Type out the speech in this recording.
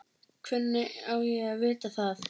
Hvernig á ég að vita það?